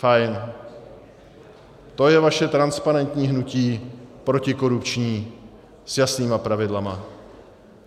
Fajn, to je vaše transparentní hnutí, protikorupční, s jasnými pravidly!